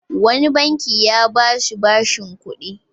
Wani banki ya ba shi bashin kuɗi.